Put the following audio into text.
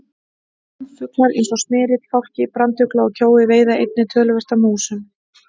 Ránfuglar eins og smyrill, fálki, brandugla og kjói veiða einnig töluvert af músum.